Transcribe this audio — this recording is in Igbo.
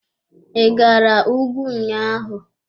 I gara ùgwù ụnyaahụ.